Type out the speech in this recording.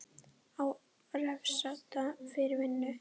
Á að refsa fyrir vinnu?